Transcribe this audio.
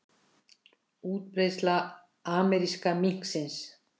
Útbreiðsla ameríska minksins